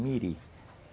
Miri.